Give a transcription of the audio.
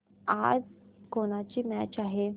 आज कोणाची मॅच आहे